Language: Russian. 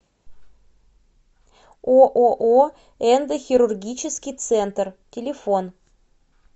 ооо эндохирургический центр телефон